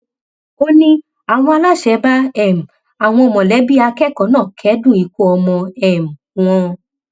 ó ní àwọn aláṣẹ bá um àwọn mọlẹbí akẹkọọ náà kẹdùn ikú ọmọ um wọn